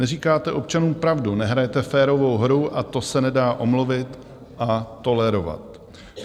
Neříkáte občanům pravdu, nehrajete férovou hru a to se nedá omluvit a tolerovat.